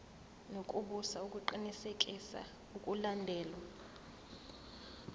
nokubusa ukuqinisekisa ukulandelwa